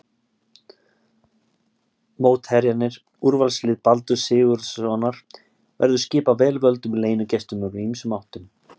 Mótherjarnir, Úrvalslið Baldurs Sigurðssonar verður skipað vel völdum leynigestum úr ýmsum áttum.